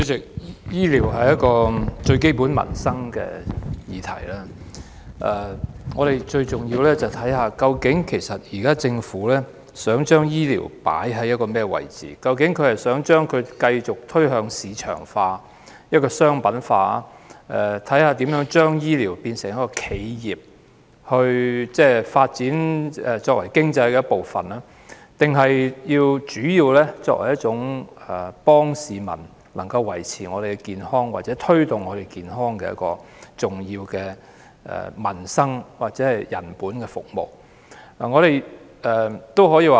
主席，醫療是最基本的民生議題，而我們最重要去看的，就是政府究竟想把醫療放在甚麼位置，究竟是想把它繼續推向市場化、商品化，看看如何把醫療變為企業，作為經濟發展的一部分，抑或是想把它主要作為協助市民維持及推動健康的重要民生、人本服務。